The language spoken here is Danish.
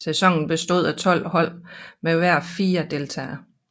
Sæsonen bestod af 12 hold med hver fire deltagere